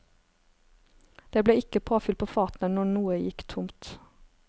Det ble ikke påfyll på fatene når noe gikk tomt.